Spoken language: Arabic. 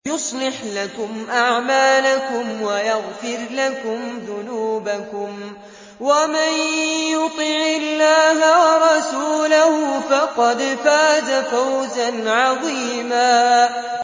يُصْلِحْ لَكُمْ أَعْمَالَكُمْ وَيَغْفِرْ لَكُمْ ذُنُوبَكُمْ ۗ وَمَن يُطِعِ اللَّهَ وَرَسُولَهُ فَقَدْ فَازَ فَوْزًا عَظِيمًا